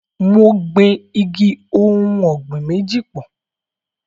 Mo gbin igi ohùn ọ̀gbìn méjì pọ̀.